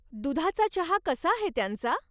दुधाचा चहा कसा आहे त्यांचा?